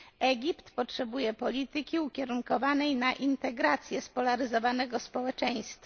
Egipt potrzebuje polityki ukierunkowanej na integrację spolaryzowanego społeczeństwa.